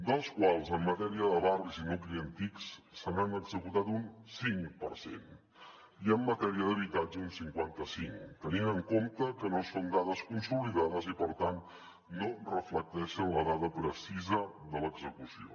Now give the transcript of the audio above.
dels quals en matèria de barris i nuclis antics se n’han executat un cinc per cent i en matèria d’habitatge un cinquanta cinc tenint en compte que no són dades consolidades i per tant no reflecteixen la dada precisa de l’execució